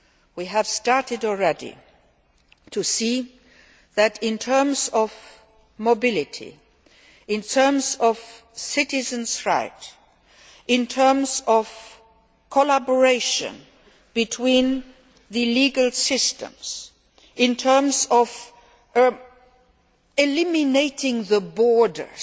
do. We have started already to see that, in terms of mobility, in terms of citizens rights, in terms of collaboration between the legal systems, in terms of eliminating the borders